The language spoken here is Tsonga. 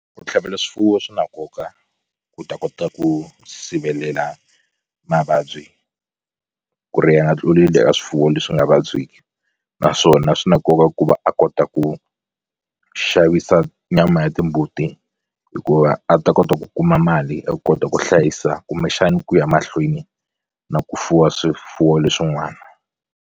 Ku tlhavela swifuwo swi na nkoka ku ta kota ku sivelela mavabyi ku ri ya nga tluleli eka swifuwo leswi nga vabyeki naswona swi na nkoka ku va a kota ku ku xavisa nyama ya timbuti hikuva a ta kota ku kuma mali a kota ku hlayisa kumbexani ku ya mahlweni na ku fuwa swifuwo leswin'wana.